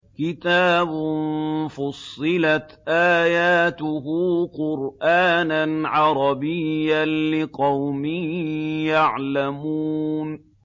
كِتَابٌ فُصِّلَتْ آيَاتُهُ قُرْآنًا عَرَبِيًّا لِّقَوْمٍ يَعْلَمُونَ